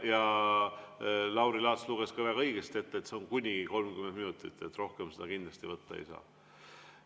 Ja Lauri Laats luges väga õigesti, et see on kuni 30 minutit, rohkem kindlasti võtta ei saa.